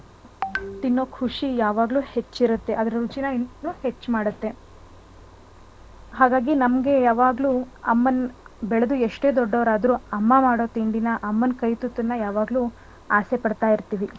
ತಿನ್ನೋ ಖುಷಿ ಯಾವಾಗ್ಲೂ ಹೆಚ್ಚಿರುತ್ತೆ ಅದ್ರ್ ರುಚಿನಾ ಹೆಚ್ಚ್ ಮಾಡುತ್ತೆ . ಹಾಗಾಗಿ ನಮ್ಗೆ ಯಾವಾಗ್ಲೂ ಅಮ್ಮನ ಬೆಳ್ದು ಎಷ್ಟೇ ದೊಡ್ಡೋರಾದ್ರು ಅಮ್ಮ ಮಾಡೋ ತಿಂಡಿನ ಅಮ್ಮನ್ ಕೈ ತುತ್ತನ್ನ ಯಾವಾಗ್ಲೂ ಆಸೆ ಪಡ್ತಾ ಇರ್ತೀವಿ.